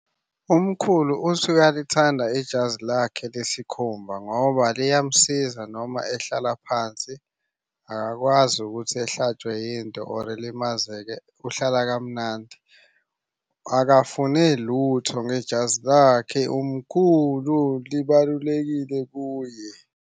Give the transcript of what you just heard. Umkhulu uthi uyalithanda ijazi lakhe lesikhumba ngoba liyamusiza noma ehlala phansi. Akakwazi ukuthi ehlatshwe yinto or elimazeke, uhlala kamnandi. Akafune lutho ngejazi lakhe umkhulu libalulekile kuye.